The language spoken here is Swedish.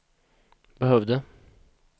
behövde